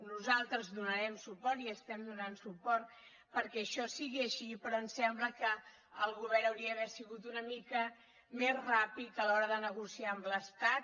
nosaltres hi donarem suport i estem donant suport perquè això sigui així però ens sembla que el govern hauria d’haver sigut una mica més ràpid a l’hora de negociar amb l’estat